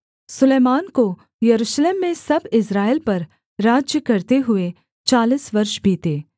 सुलैमान को यरूशलेम में सब इस्राएल पर राज्य करते हुए चालीस वर्ष बीते